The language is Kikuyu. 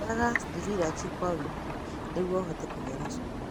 Rĩaga thibinaji kwa ũingĩ nĩguo ũhote kũgĩa na cuma.